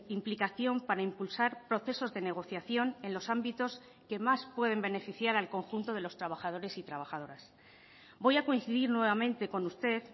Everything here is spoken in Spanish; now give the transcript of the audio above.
implicación para impulsar procesos de negociación en los ámbitos que más pueden beneficiar al conjunto de los trabajadores y trabajadoras voy a coincidir nuevamente con usted